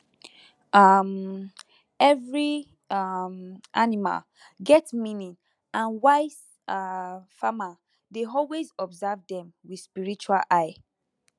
um every um animal get meaning and wise um farmer dey always observe dem with spiritual eye